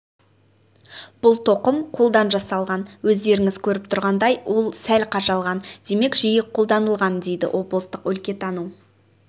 бұл тоқым қолдан жасалған өздеріңіз көріп тұрғандай ол сәл қажалған демек жиі қолданылған дейді облыстық өлкетану